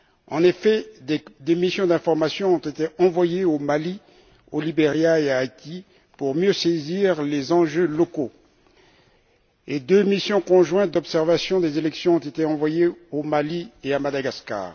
En effet, des missions d'information ont été envoyées au Mali, au Liberia et en Haïti pour mieux saisir les enjeux locaux, et deux missions conjointes d'observation des élections ont été envoyées au Mali et à Madagascar.